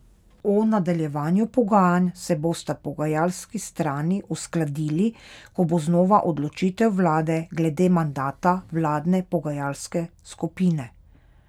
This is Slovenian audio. O nadaljevanju pogajanj se bosta pogajalski strani uskladili, ko bo znana odločitev vlade glede mandata vladne pogajalske skupine.